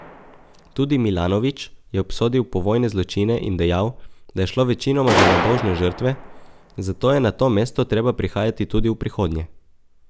Tudi Milanović je obsodil povojne zločine in dejal, da je šlo večinoma za nedolžne žrtve, zato je na to mesto treba prihajati tudi v prihodnje.